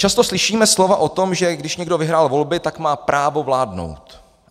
Často slyšíme slova o tom, že když někdo vyhrál volby, tak má právo vládnout.